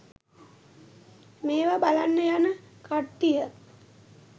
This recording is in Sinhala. මේව බලන්න යන කට්ටිය